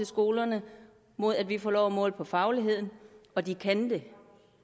skolerne mod at vi får lov at måle på fagligheden og de kan det